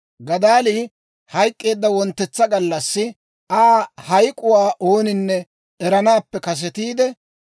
Gadaalii hayk'k'eedda wonttetsa gallassi, Aa hayk'k'uwaa ooninne eranaappe kasetiide,